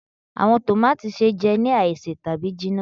Awọn tòmátì se jẹ ni aise tabi jinna.